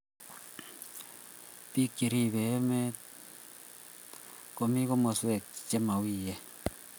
Biko cheribe emet komi komoswek chemawien